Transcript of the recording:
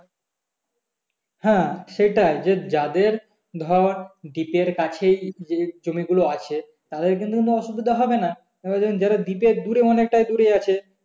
হ্যাঁ সেটাই যে যাদের ধর deep এর কাছেই জমিগুলো আছে তাদের কিন্তু কোনো অসুবিধা হবে না তেমন যাদের deep এর দূরে অনেকটাই দূরে আছে